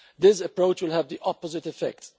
This approach will have the opposite effect.